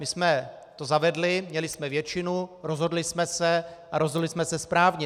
My jsme to zavedli, měli jsme většinu, rozhodli jsme se, a rozhodli jsme se správně.